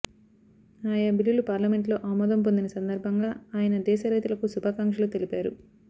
ఆయా బిల్లులు పార్లమెంటులో ఆమోదం పొందిన సందర్భంగా ఆయన దేశ రైతులకు శుభాకాంక్షలు తెలిపారు